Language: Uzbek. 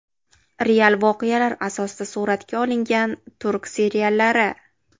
Real voqealar asosida suratga olingan turk seriallari.